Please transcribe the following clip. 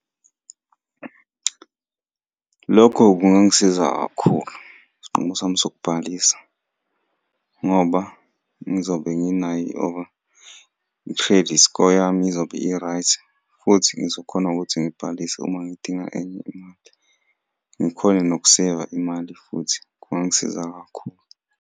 Lokho kungangisiza kakhulu, isinqumo sami sokubhalisa, ngoba ngizobe nginayo i-credit score yami izobe i-right, futhi ngizokhona ukuthi ngibhalise uma ngidinga enye imali. Ngikhone nokuseyiva imali, futhi kungangisiza kakhulu.